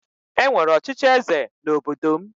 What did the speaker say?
E nwere ọchịchị eze n'obodo m